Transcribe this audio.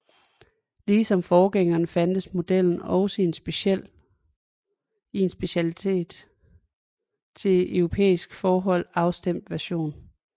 Ligesom forgængeren fandtes modellen også i en specielt til europæiske forhold afstemt version